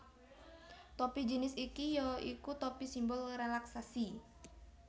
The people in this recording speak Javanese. Topi jinis iki ya iku topi simbol rélaksasi